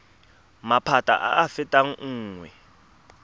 maphata a a fetang nngwe